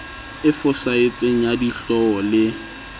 e fosahetseng ya dihlooho le